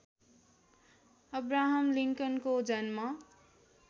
Abraham लिङ्कनको जन्म